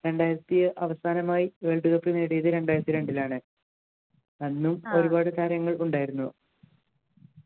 രണ്ടായിരത്തി അവസാനമായി world cup നേടിയത് രണ്ടായിരത്തിരണ്ടിൽലാണ് അന്നും ഒരുപാട് താരങ്ങൾ ഉണ്ടായിരുന്നു